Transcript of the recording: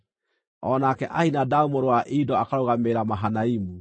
o nake Ahinadabu mũrũ wa Ido akarũgamĩrĩra Mahanaimu;